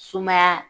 Sumaya